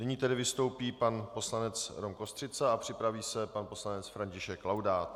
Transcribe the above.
Nyní tedy vstoupí pan poslanec Rom Kostřica a připraví se pan poslanec František Laudát.